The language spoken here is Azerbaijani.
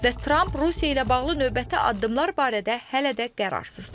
Və Tramp Rusiya ilə bağlı növbəti addımlar barədə hələ də qərarsızdır.